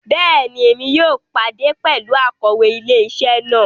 Bẹẹni, Èmí yóò pàdé pẹlú Akòwé ilé-isé náà